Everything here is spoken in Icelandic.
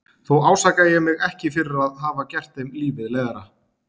Þó ásaka ég mig ekki fyrir að hafa gert þeim lífið leiðara.